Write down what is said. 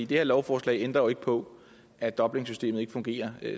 det her lovforslag ændrer jo ikke på at dublinsystemet ikke fungerer